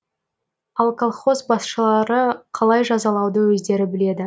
ал колхоз басшылары қалай жазалауды өздері біледі